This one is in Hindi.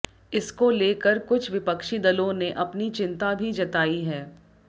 इसको लेकर कुछ विपक्षी दलों ने अपनी चिंता भी जताई है